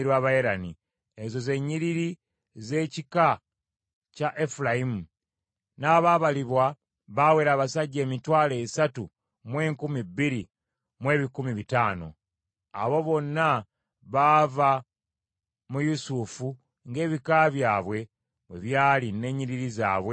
Ezo ze nnyiriri z’ekika kya Efulayimu; n’abaabalibwa baawera abasajja emitwalo esatu mu enkumi bbiri mu ebikumi bitaano (32,500). Abo bonna baava mu Yusufu ng’ebika byabwe bwe byali n’ennyiriri zaabwe bwe zaali.